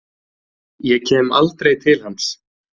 Ég kem aldrei til hans.